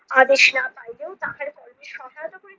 আদেশ না পাইয়াও তাহার কণ্ঠে সকাল-দুপুর